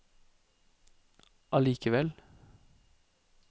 allikevel